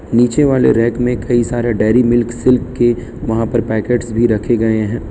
नीचे वाले रेक में कई सारे डेरी मिल्क सिल्क के वहां पर पैकेट्स भी रखे गए हैं।